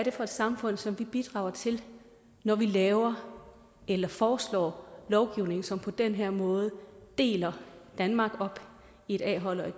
er for samfund som vi bidrager til når vi laver eller foreslår lovgivning som på den her måde deler danmark op i et a hold og et